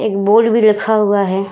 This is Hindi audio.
एक बोर्ड भी लिखा हुआ हैं।